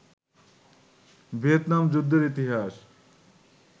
Vietnam যুদ্ধের ইতিহাস